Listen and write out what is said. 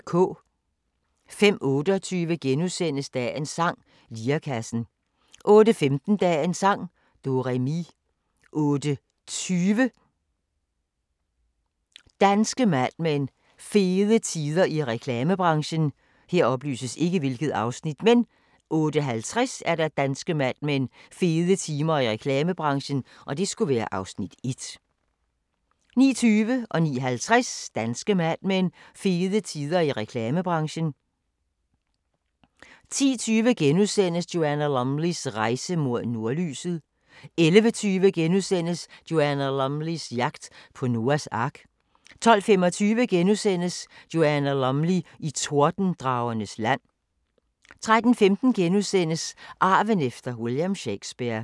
05:28: Dagens sang: Lirekassen * 08:15: Dagens sang: Do-re-mi 08:20: Danske Mad Men: Fede tider i reklamebranchen 08:50: Danske Mad Men: Fede tider i reklamebranchen (Afs. 1) 09:20: Danske Mad Men: Fede tider i reklamebranchen 09:50: Danske Mad Men: Fede tider i reklamebranchen 10:20: Joanna Lumleys rejse mod nordlyset * 11:20: Joanna Lumleys jagt på Noas ark * 12:25: Joanna Lumley i Tordendragernes land * 13:15: Arven efter William Shakespeare *